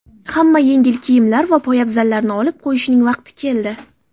Hamma yengil kiyimlar va poyabzallarni olib qo‘yishning vaqti keldi.